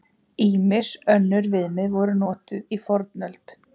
Ýmis önnur viðmið voru notuð í fornöld.